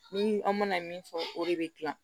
Ni an mana min fɔ o de bɛ dilan